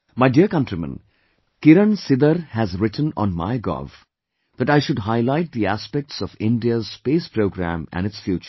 My dear countrymen, Kiran Sidar has written on MyGov that I should highlight the aspects of India's space program and its future